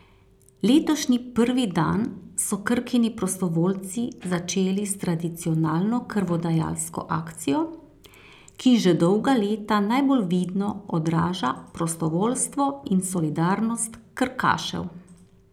Letošnji prvi dan so Krkini prostovoljci začeli s tradicionalno krvodajalsko akcijo, ki že dolga leta najbolj vidno odraža prostovoljstvo in solidarnost krkašev.